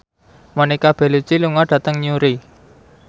Monica Belluci lunga dhateng Newry